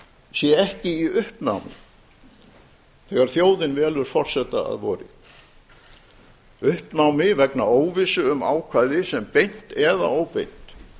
sé ekki í uppnámi þegar þjóðin velur forseta að vori uppnámi vegna óvissu um ákvæði sem beint eða óbeint